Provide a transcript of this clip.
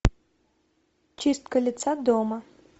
чистка лица дома